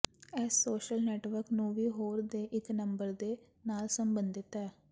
ਇਸ social network ਨੂੰ ਵੀ ਹੋਰ ਦੇ ਇੱਕ ਨੰਬਰ ਦੇ ਨਾਲ ਸੰਬੰਧਿਤ ਹੈ